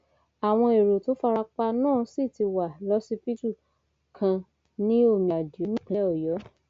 àwọn èrò tó fara pa náà sì ti wà lọsibítù kan ní omiadíò nípínlẹ ọyọ